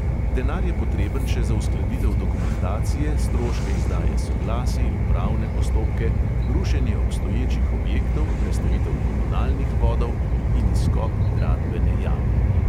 Denar je potreben še za uskladitev dokumentacije, stroške izdaje soglasij, upravne postopke, rušenje obstoječih objektov, prestavitev komunalnih vodov in izkop gradbene jame.